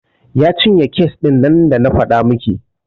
Ya cinye kes ɗin nan da na faɗa miki.